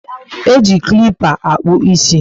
E ji klipper akpu isi